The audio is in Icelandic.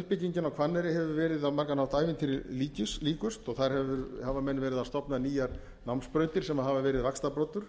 uppbyggingin á hvanneyri hefur verið á margan hátt ævintýri líkust og þar hafa menn verið að stofna nýjar námsbrautir sem hafa verið vaxtarbroddur